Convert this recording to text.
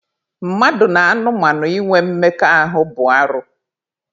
Mmadụ na anụmanụ inwe mmekọahụ bụ arụ.